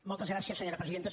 moltes gràcies senyora presidenta